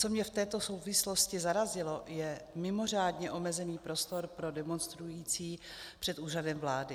Co mě v této souvislosti zarazilo, je mimořádně omezený prostor pro demonstrující před úřadem vlády.